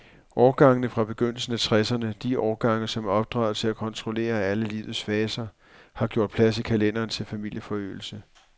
Årgangene fra begyndelsen af tresserne, de årgange, som er opdraget til at kontrollere alle livets faser, har gjort plads i kalenderen til familieforøgelse.